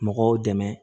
Mɔgɔw dɛmɛ